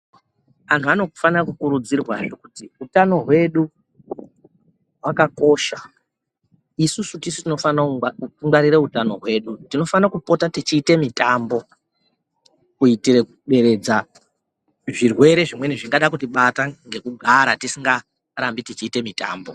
Antu anofane kukurudzirwazve kuti hutano hwedu hwakakosha. Isusu tisu tinofane kungwarire hutano hwedu. Tinofane kupota tichiite mitambo, kuitire kuderedza zvirwere zvimweni zvingade kutibata ngekugara tisingarambi mitambo.